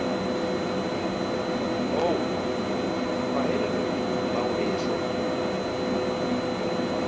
Ó, hvað heyrðirðu, bláeygi sonur?